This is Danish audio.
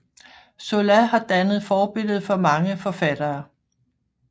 Zola har dannet forbillede for mange forfattere